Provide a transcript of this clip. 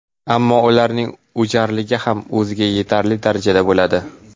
Ammo ularning o‘jarligi ham o‘ziga yetarli darajada bo‘ladi.